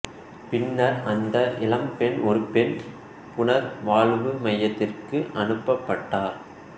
பின்னர் அந்த இளம்பெண் ஒரு பெண் புனர் வாழ்வு மையத்திற்கு அனுப்பப் பட்டார்